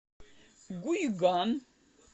гуйган